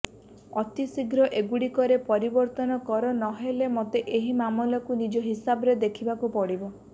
ଅତି ଶୀଘ୍ର ଏଗୁଡ଼ିକରେ ପରିବର୍ତ୍ତନ କର ନହେଲେ ମୋତେ ଏହି ମାମଲାକୁ ନିଜ ହିସାବରେ ଦେଖିବାକୁ ପଡ଼ିବ